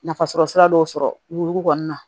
Nafasɔrɔ sira dɔw sɔrɔ wo kɔni na